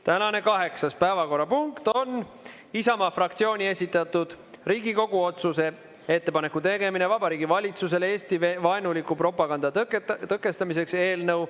Tänane kaheksas päevakorrapunkt on Isamaa fraktsiooni esitatud Riigikogu otsuse "Ettepaneku tegemine Vabariigi Valitsusele Eesti-vaenuliku propaganda tõkestamiseks" eelnõu.